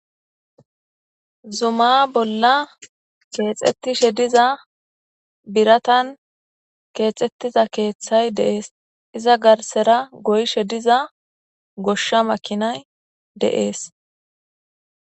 Zuma bolla keexettishe diza biratan keexxettiza keeththay deees iza garsera goyshe diza goshsha makinay deees.